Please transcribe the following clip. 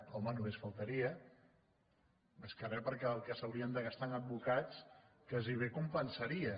home només faltaria més que re perquè el que s’haurien de gastar amb advocats gairebé compensaria